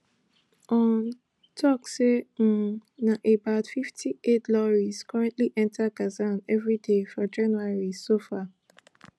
un tok say um na about fifty aid lorries currently enta gaza evri day for january so far